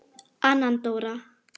Anna Dóra.